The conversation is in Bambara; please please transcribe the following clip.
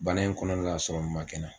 Bana in kɔnɔna na ma kɛ n na